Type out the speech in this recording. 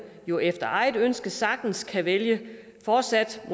jo efter eget ønske sagtens kan vælge fortsat at